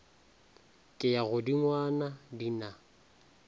ke ya godingwana di na